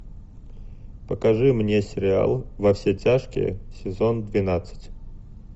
покажи мне сериал во все тяжкие сезон двенадцать